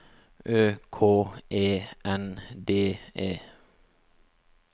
Ø K E N D E